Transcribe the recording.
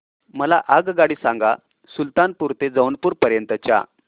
मला आगगाडी सांगा सुलतानपूर ते जौनपुर पर्यंत च्या